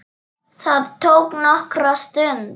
Það tók nokkra stund.